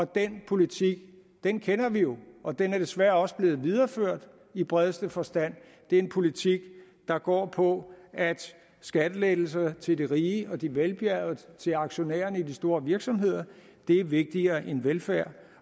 den politik kender vi jo og den er desværre også blevet videreført i bredeste forstand det er en politik der går på at skattelettelser til de rige og de velbjergede til aktionærerne i de store virksomheder er vigtigere end velfærd